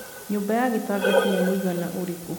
nyũmba ya gĩtangati nĩ mũigana ũrikũ